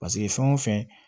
Paseke fɛn o fɛn